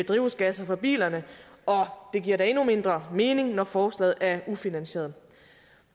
drivhusgas fra bilerne og det giver da endnu mindre mening når forslaget er ufinansieret